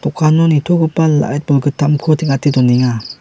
nitogipa lait bolgittamko teng·ate donenga.